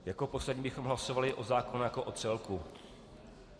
Jako poslední bychom hlasovali o zákonu jako o celku.